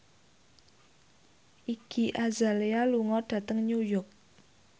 Iggy Azalea lunga dhateng New York